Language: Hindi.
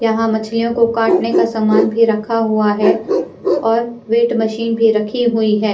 यहाँ मछलियों को काटने का सामान भी रखा हुआ है और वेट मशीन भी रखी हुई है।